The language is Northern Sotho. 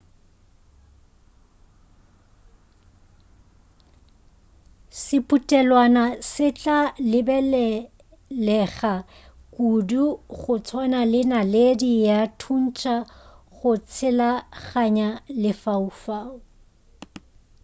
sephutelwana se tla lebelelega kudu go tswana le naledi ya thuntša go tshelaganya lefaufau